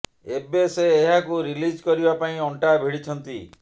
ଏବେ ସେ ଏହାକୁ ରିଲିଜ କରିବା ପାଇଁ ଅଂଟା ଭିଡିଛନ୍ତି